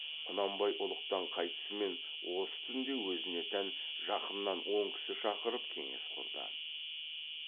құнанбай ұлықтан қайтысымен осы түнде өзіне тән жақыннан он кісі шақырып кеңес құрды